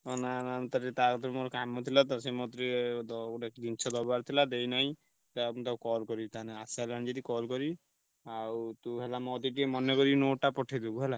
ହଁ ନା ନା ମୁଁ ତା ତା କତିରେ ମୋର କାମ ଥିଲା ତ ସେ ମତେ ଟିକେ ~ଦ ଗୋଟେ ଜିନିଷ ଦବାର ଥିଲା ଦେଇନାଇଁ। ଯାହା ହଉ ମୁଁ ତାକୁ call କରିବି ତା ନାଁ ଆସି ସାଇଲାଣି ଯଦି call କରିବି। ଆଉ ତୁ ହେଲା ମୋ କତିକି ଟିକେ ମନେ କରି note ଟା ପଠେଇ ଦବୁ ହେଲା।